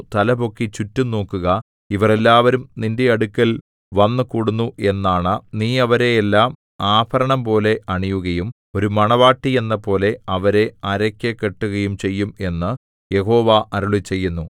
തലപൊക്കി ചുറ്റും നോക്കുക ഇവർ എല്ലാവരും നിന്റെ അടുക്കൽ വന്നു കൂടുന്നു എന്നാണ നീ അവരെ എല്ലാം ആഭരണംപോലെ അണിയുകയും ഒരു മണവാട്ടി എന്നപോലെ അവരെ അരയ്ക്ക് കെട്ടുകയും ചെയ്യും എന്നു യഹോവ അരുളിച്ചെയ്യുന്നു